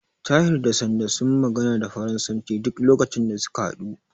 Tahir da Sanda sun magana da faransanci duk lokacin da suka haɗu.